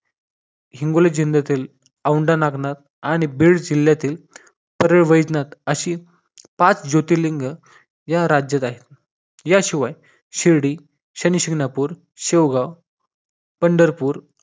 हिंगोली जिल्ह्यातील औंढा नागनाथ आणि बीड जिल्ह्यातील पैरय वैद्यनाथ अशी पाच ज्योतिर्लिंग या राज्यात आहेत. याशिवाय शिर्डी शनिशिंगणापूर शेगाव पंढरपूर